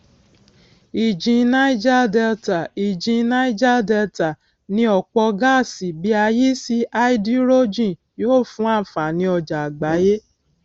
ìjìn niger delta ìjìn niger delta ní ọpọ gáàsì bí a yí sí háídírójìn yóò fún ànfàní ọjà àgbáyé